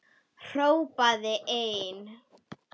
Hrópaði einn: